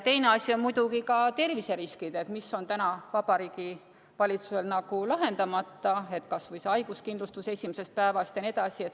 Teine asi on muidugi ka terviseriskid, mis on täna Vabariigi Valitsusel lahendamata, kas või see haiguskindlustus esimesest päevast jne.